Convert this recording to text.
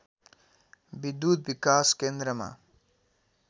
विद्युत् विकास केन्द्रमा